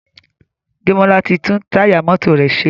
Demola tí tún Táyà mọ́tò rẹ ṣe.